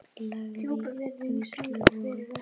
Lægri vígslur voru